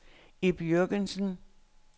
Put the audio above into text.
Ib Jürgensen